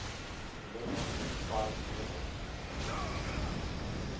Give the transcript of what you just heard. lenin prize winners